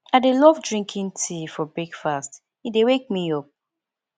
i dey love drinking tea for breakfast e dey wake me up